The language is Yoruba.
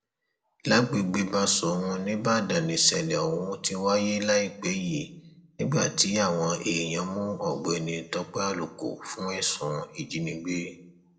lágbègbè báṣọrun nìbàdàn nìṣẹlẹ ohun ti wáyé láìpẹ yìí nígbà tí àwọn èèyàn mú ọgbẹni tọpẹ àlùkò fún ẹsùn ìjínigbé